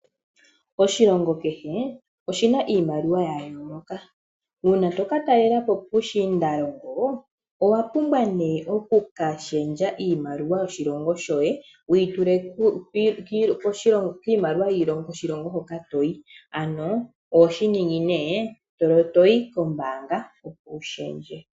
Oshilongo kehe oshina iimaliwa yayooloka, uuna tokatalelapo puushindalongo owapumbwa oku ka shendja iimaliwa yoye yoshilongo shoye wituule miimaliwa yo koshilongo hoka toyi ano oho yi née kombanga opo wu shendje.